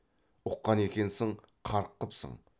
ұққан екенсің қарқ қыпсың